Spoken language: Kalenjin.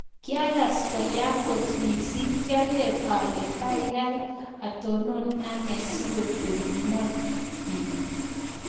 Kiakas koyaa kot mising. kiager alee kaikai atonon anee sikotepii ngony piik